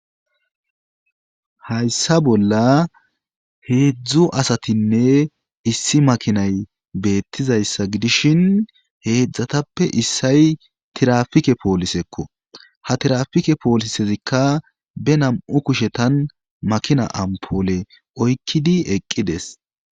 Hayssa bolla heedzdzu asatinne issi makinay beettizayssa gidishin heedzatappe issay tiraapike polisekko ha tiraapike polisezikka be nam7u kushetan makina amppole oykkidi eqqides.